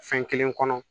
Fɛn kelen kɔnɔ